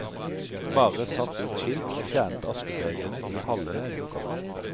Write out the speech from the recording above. Bare satt ut skilt og fjernet askebegrene i halve lokalet.